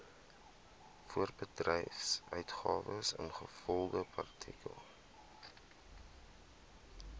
voorbedryfsuitgawes ingevolge artikel